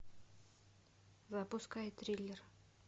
запускай триллер